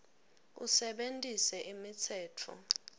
usebentise imitsetfo